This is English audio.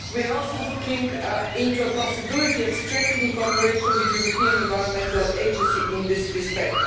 We are also looking into the possibility of strengthening cooperation with the European Environment Agency in this respect.